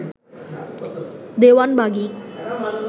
Dewanbagi